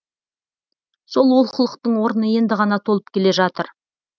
сол олқылықтың орны енді ғана толып келе жатыр